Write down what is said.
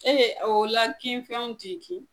Ee o la kin fɛnw ti kin